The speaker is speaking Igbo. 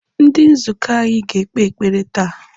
Ndi nzukọ anyị ga-ekpe ekpere taa.